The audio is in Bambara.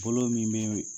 Bolo min bɛ